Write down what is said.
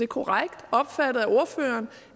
korrekt opfattet af ordføreren